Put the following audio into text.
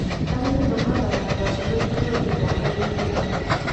Arĩmi mahandaga ngwacĩ maita maingĩ mwaka-inĩ ũmwe.